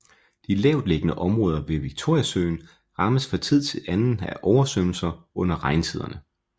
De lavtliggende områder ved Victoriasøen rammes fra tid til anden af oversvømmelser under regntiderne